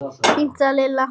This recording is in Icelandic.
Fínt sagði Lilla.